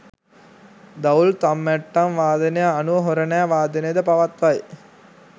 දවුල්, තම්මැට්ටම් වාදනය අනුව හොරණෑ වාදනය ද පවත්වයි.